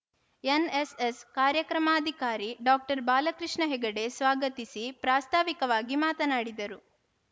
NSS ಕಾರ್ಯಕ್ರಮಾಧಿಕಾರಿ doctor Balakrishna Hegde ಸ್ವಾಗತಿಸಿ ಪ್ರಾಸ್ತಾವಿಕವಾಗಿ ಮಾತನಾಡಿದರು